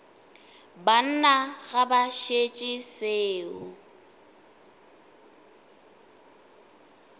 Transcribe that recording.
banna ga ba šetše seo